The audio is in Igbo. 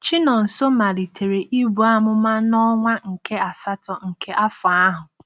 Chinonso malitere ibu amụma n’ọnwa nke asatọ nke afọ ahụ.